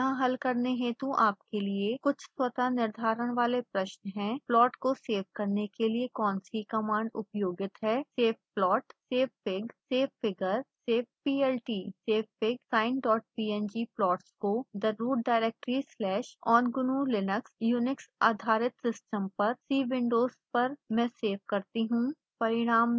यहाँ हल करने हेतु आपके लिए कुछ स्वतः निर्धारण वाले प्रश्न हैं